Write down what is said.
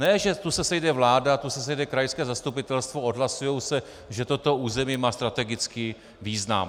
Ne že tu se sejde vláda, tu se sejde krajské zastupitelstvo, odhlasuje se, že toto území má strategický význam.